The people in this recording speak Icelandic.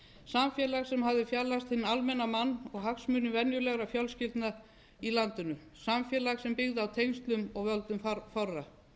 samfélag sem hafði fjarlægst hinn almenna mann og hagsmuni venjulegra fjölskyldna í landinu samfélag sem byggði á tengslum og völdum fárra